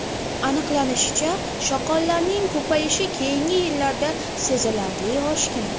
Aniqlanishicha, shoqollarning ko‘payishi keyingi yillarda sezilarli oshgan.